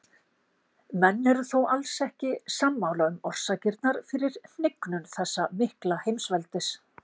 Menn eru þó alls ekki sammála um orsakirnar fyrir hnignun þessa mikla heimsveldis.